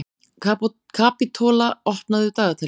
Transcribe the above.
Kapitola, opnaðu dagatalið mitt.